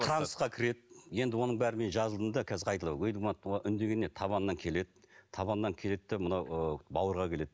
трансқа кіреді енді оның бәрін мен жазылдым да қазір табанынан келеді табанынан келеді де мына ы бауырға келеді